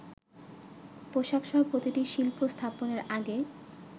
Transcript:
পোশাকসহ প্রতিটি শিল্প স্থাপনের আগে